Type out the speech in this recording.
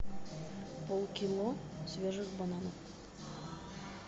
полкило свежих бананов